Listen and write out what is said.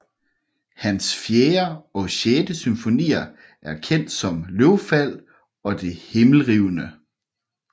Hans fjerde og sjette symfonier er kendt som Løvfald og Det Himmelrivende